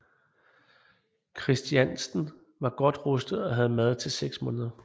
Kristiansten var godt rustet og havde mad til seks måneder